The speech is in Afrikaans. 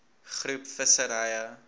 groep visserye